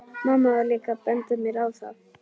Mamma var líka að benda mér á það.